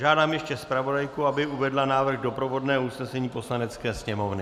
Žádám ještě zpravodajku, aby uvedla návrh doprovodného usnesení Poslanecké sněmovny.